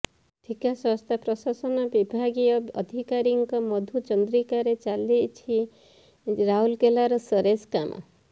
ଠିକା ସଂସ୍ଥା ପ୍ରଶାସନ ବିଭାଗୀୟ ଅଧତ୍କାରୀଙ୍କ ମଧୁ ଚନ୍ଦ୍ରିକାରେ ଚାଲିଛି ରାଉରକେଲାର ସୋରେଜ କାମ